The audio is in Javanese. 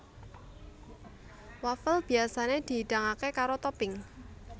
Wafel biyasané dihidangké karo topping